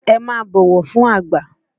Ẹ máa bọ̀wọ̀ fún àgbà!